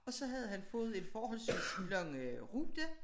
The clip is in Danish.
Og så havde han fået en forholdsvis lang rute